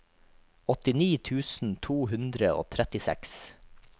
åttini tusen to hundre og trettiseks